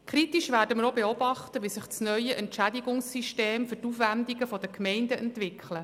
Kritisch werden wir auch beobachten, wie sich das neue Entschädigungssystem für die Aufwendungen der Gemeinden entwickelt.